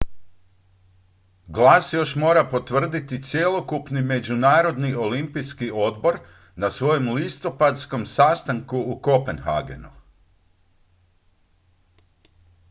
glas mora još potvrditi cjelokupni međunarodni olimpijski odbor na svojem listopadskom sastanku u kopenhagenu